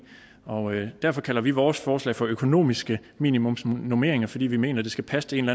og derfor kalder vi vores forslag for økonomiske minimumsnormeringer altså fordi vi mener det skal passe til en